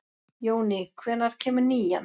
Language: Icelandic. Jóný, hvenær kemur nían?